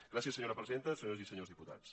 gràcies senyora presidenta senyores i senyors dipu·tats